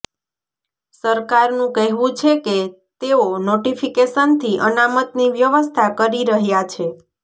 સરકારનું કહેવું છે કે તેઓ નોટિફિકેશનથી અનામતની વ્યવસ્થા કરી રહ્યા છે